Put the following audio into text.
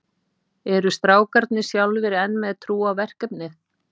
Eru strákarnir sjálfir enn með trú á verkefnið?